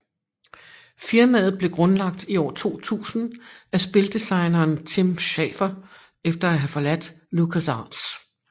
Firmaet blev grundlagt i år 2000 af spildesigneren Tim Schafer efter at have forladt LucasArts